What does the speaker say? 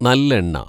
നല്ലെണ്ണ